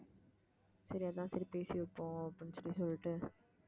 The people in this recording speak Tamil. சரி அதான் சரி பேசி வைப்போம் அப்படின்னு சொல்லி சொல்லிட்டு